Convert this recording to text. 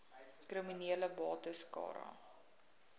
kriminele bates cara